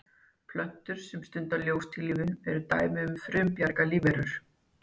Plöntur sem stunda ljóstillífun eru dæmi um frumbjarga lífverur.